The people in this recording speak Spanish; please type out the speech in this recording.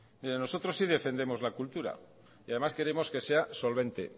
mire nosotros sí defendemos la cultura y además queremos que sea solvente